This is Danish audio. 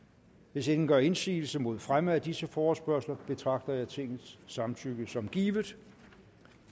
hvis ingen gør indsigelse mod fremme af disse forespørgsler betragter jeg tingets samtykke som givet